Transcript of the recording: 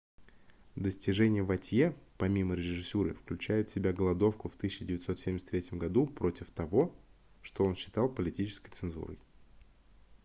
достижения вотье помимо режиссуры включают в себя голодовку в 1973 году против того что он считал политической цензурой